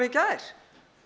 gær